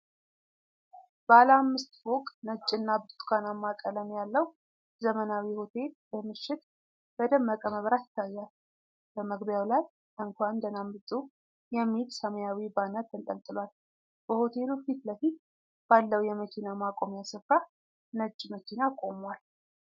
ባለ አምስት ፎቅ ነጭና ብርቱካናማ ቀለም ያለው ዘመናዊ ሆቴል በምሽት በደመቀ መብራት ይታያል። በመግቢያው ላይ “እንኳን ደህና መጡ!!” የሚል ሰማያዊ ባነር ተንጠልጥሏል። በሆቴሉ ፊት ለፊት ባለው የመኪና ማቆሚያ ስፍራ ነጭ መኪና ቆሟል።